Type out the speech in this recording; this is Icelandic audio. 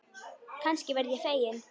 Kannski verð ég fegin.